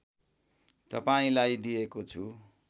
तपाईँलाई दिएको छु